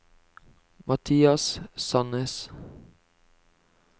Mathias Sannes